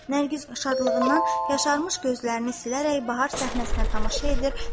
Nərgiz şadlığından yaşarmış gözlərini silərək bahar səhnəsinə tamaşa edir.